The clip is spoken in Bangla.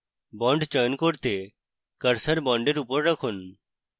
bond চয়ন করতে cursor বন্ডের উপর রাখুন